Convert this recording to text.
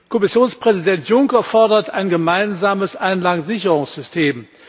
Kommissionspräsident Juncker fordert ein gemeinsames Einlagensicherungssystem.